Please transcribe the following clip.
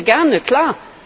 Das hören wir gerne, klar.